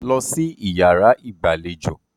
Dúró sí iyàrá ìgbàlejò!